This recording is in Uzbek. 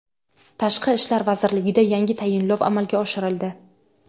Tashqi ishlar vazirligida yangi tayinlov amalga oshirildi.